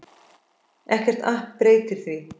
Ekkert app breytir því.